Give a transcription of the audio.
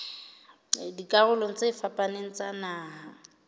dikarolong tse fapaneng tsa naha